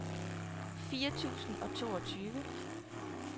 fire tusind og toogtyve